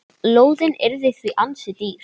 Lóðin yrði því ansi dýr.